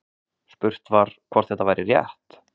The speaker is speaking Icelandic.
Spurt var, hvort þetta væri rétt?